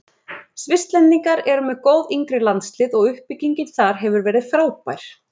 Svisslendingar eru með góð yngri landslið og uppbyggingin þar hefur verið frábær.